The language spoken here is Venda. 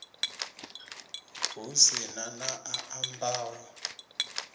hu si na a ambaho